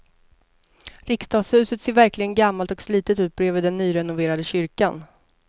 Riksdagshuset ser verkligen gammalt och slitet ut bredvid den nyrenoverade kyrkan.